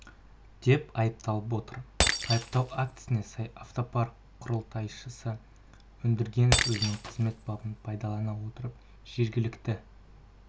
деп айыпталып отыр айыптау актісіне сай автопарк құрылтайшысы өндіргенов өзінің қызмет бабын пайдалана отырып жергілікті